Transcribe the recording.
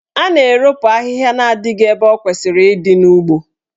A na-eropu ahịhịa na adịghị ebe o kwesịrị ịdị n'ugbo.